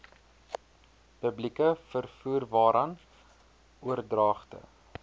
publieke vervoerwaarvan oordragte